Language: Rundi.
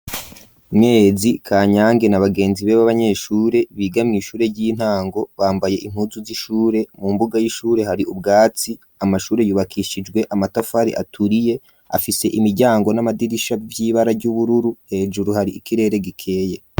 Mwezi, Kanyange na bagenzibe b'abanyeshure biga mw'ishure ry'intango, bambaye impuuzu z'ishure, mu mbuga y'ishure hari ubwatsi, amashure yubakishijwe amatafari aturiye, afise imiryango n'amadirisha vy'ibara ry'ubururu, hejuru hari ikirere gikeye.